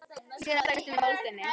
Sé hana berjast um í moldinni.